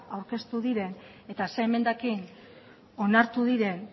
aurkeztu diren eta zein emendakin onartu diren